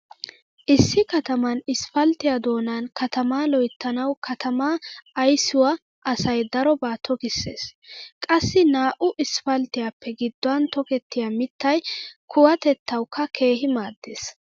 Issi kataman isppalttiya doonan katama loyttanawu katamaa ayssiua asay daroba tokissees. Qassi naa"u isppalttiyappe gidduwan tokettiya mittay kuwatettawukka keehi maaddees.